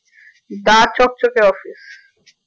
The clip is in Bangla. দা চকচকে office